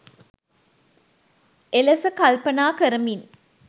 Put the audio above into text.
එලෙස කල්පනා කරමින්